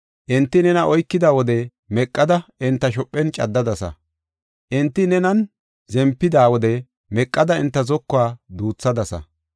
Enti nena oykida wode meqada enta shophen caddadasa; enti nenan zempida wode meqada enta zokuwa duuthadasa.